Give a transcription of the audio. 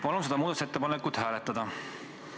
Palun seda muudatusettepanekut hääletada!